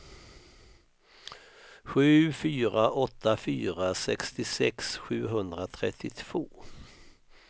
sju fyra åtta fyra sextiosex sjuhundratrettiotvå